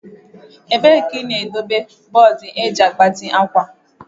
Ebee ka ị na-edobe bọọdụ eji agbati akwa?